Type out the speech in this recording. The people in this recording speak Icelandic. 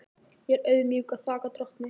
Ég er auðmjúk og þakka drottni.